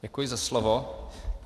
Děkuji za slovo.